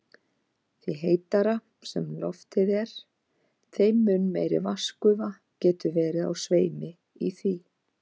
Því heitara sem loftið er, þeim mun meiri vatnsgufa getur verið á sveimi í því.